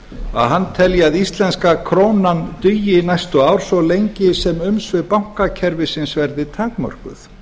að hann telji að íslenska krónan dugi næstu ár svo lengi sem umsvif bankakerfisins verði takmörkuð